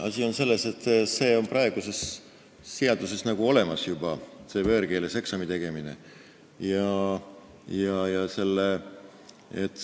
Asi on selles, et see võõrkeeles eksami tegemine on praeguses seaduses juba olemas.